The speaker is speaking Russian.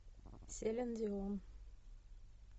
селин дион